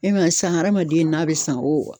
E ma ye san hadamaden n'a bɛ san o